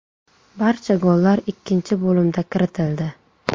Barcha gollar ikkinchi bo‘limda kiritildi.